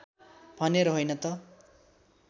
भनेर होइन त